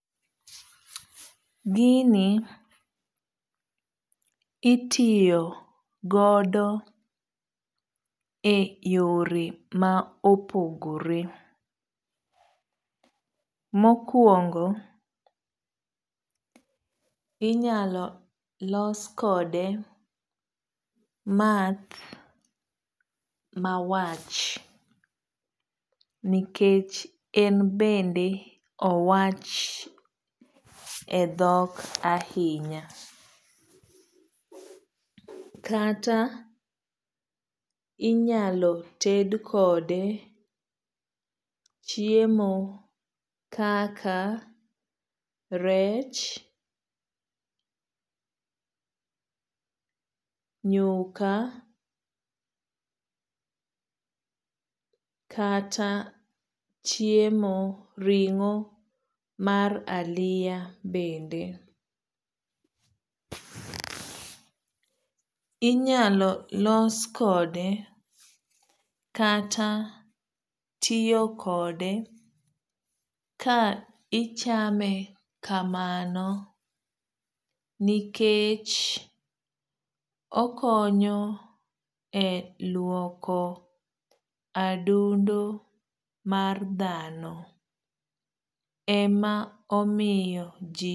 Gini itiyo godo e yore ma opogore. Mokwongo inyalo los kode math mawach nikech en bende owach e dhok ahinya. Kata inyalo ted kode chiemo kaka rech, nyuka, kata chiemo ring'o mar aliya bende. Inyalo los kode kata tiyo kode ka ichame kamano nikech okonyo e luoko adundo mar dhano. Ema omiyo ji.